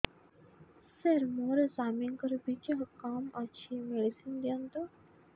ସାର ମୋର ସ୍ୱାମୀଙ୍କର ବୀର୍ଯ୍ୟ କମ ଅଛି ମେଡିସିନ ଦିଅନ୍ତୁ